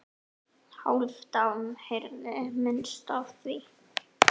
Hálfdán heyrði minnst af því.